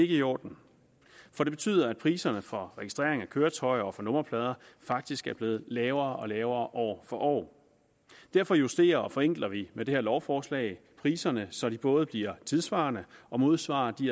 i orden for det betyder at priserne for registrering af køretøjer og for nummerplader faktisk er blevet lavere og lavere år for år derfor justerer og forenkler vi med det her lovforslag priserne så de både bliver tidssvarende og modsvarer de